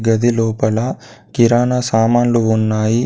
గది లోపల కిరాణా సామానులు ఉన్నాయి.